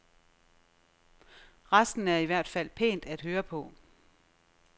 Resten er i hvert fald pænt at høre på.